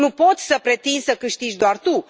Nu poți să pretinzi să câștigi doar tu.